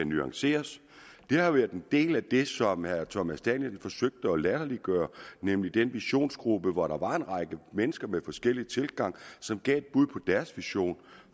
nuanceres det har været en del af det som herre thomas danielsen forsøgte at latterliggøre nemlig den visionsgruppe hvori der var en række mennesker med forskellig tilgang som gav et bud på deres vision